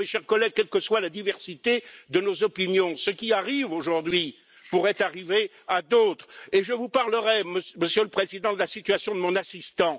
Mes chers collègues, quelle que soit la diversité de nos opinions, ce qui arrive aujourd'hui pourrait arriver à d'autres et je vous parlerai, Monsieur le Président, de la situation de mon assistant.